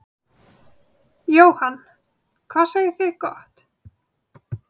Jóhann: Hvað segið þið gott.